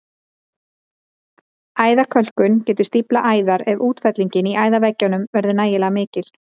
Æðakölkun getur stíflað æðar ef útfellingin í æðaveggjunum verður nægilega mikil.